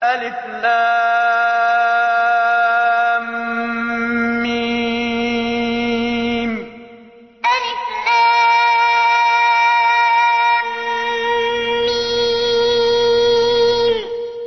الم الم